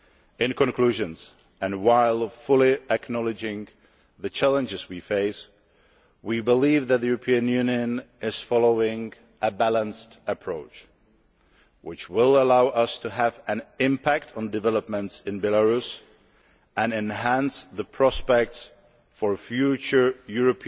In conclusion, and while fully acknowledging the challenges we face, we believe that the European Union is following a balanced approach which will allow us to have an impact on developments in Belarus and enhance the prospects for future